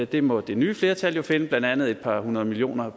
dem må det nye flertal jo finde blandt andet et par hundrede millioner